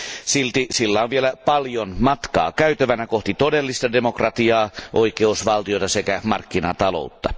Silti sillä on vielä paljon matkaa käytävänä kohti todellista demokratiaa, oikeusvaltiota sekä markkinataloutta.